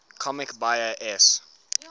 comics buyer s